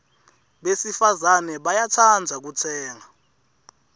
besifazane bayatsandza kutsenga